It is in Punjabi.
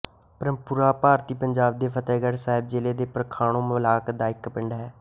ਪ੍ਰੇਮਪੁਰਾ ਭਾਰਤੀ ਪੰਜਾਬ ਦੇ ਫ਼ਤਹਿਗੜ੍ਹ ਸਾਹਿਬ ਜ਼ਿਲ੍ਹੇ ਦੇ ਖਮਾਣੋਂ ਬਲਾਕ ਦਾ ਇੱਕ ਪਿੰਡ ਹੈ